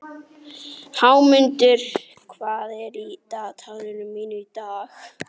Hámundur, hvað er á dagatalinu mínu í dag?